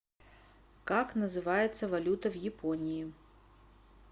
как называется валюта в японии